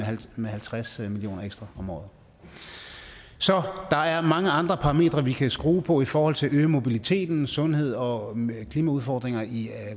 med halvtreds million kroner ekstra om året så der er mange andre parametre som vi kan skrue på i forhold til at øge mobiliteten sundhed og klimaudfordringer i